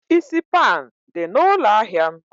Isi pan dị na ụlọ ahịa m?